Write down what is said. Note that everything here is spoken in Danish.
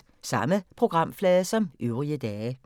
Samme programflade som øvrige dage